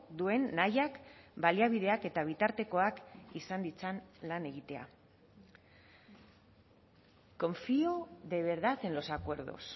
duen nahiak baliabideak eta bitartekoak izan ditzan lan egitea confío de verdad en los acuerdos